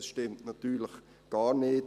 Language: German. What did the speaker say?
Das stimmt natürlich gar nicht.